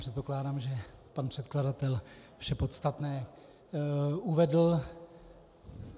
Předpokládám, že pan předkladatel vše podstatné uvedl.